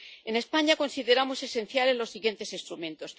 En España consideramos esenciales los siguientes instrumentos.